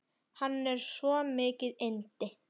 Hann er svo mikið yndi.